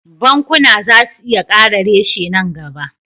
Bankuna za su iya kara reshe nan gaba